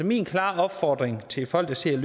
min klare opfordring til folk der sidder